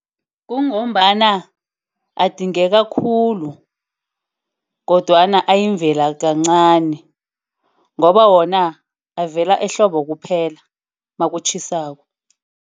Kungombana adingeka khulu, kodwana eyimvelo kancani. Ngoba wona avela ehlobo kuphela nakutjhisako.